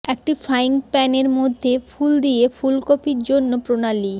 একটি ফ্রাইং প্যানের মধ্যে ফুল দিয়ে ফুলকপি জন্য প্রণালী